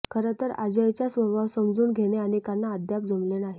खरं तर अजयचा स्वभाव समजून घेणे अनेकांना अद्याप जमले नाही